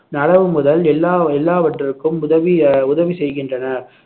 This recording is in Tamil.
நடவு முதல் எல்லா~ எல்லாவற்றிற்கும் உதவி அஹ் உதவி செய்கின்றனர்